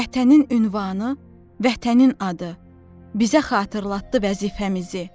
Vətənin ünvanı, vətənin adı bizə xatırlatdı vəzifəmizi.